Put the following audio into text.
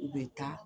U bɛ taa